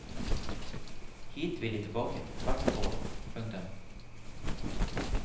Hit vil de tilbake hvert år. punktum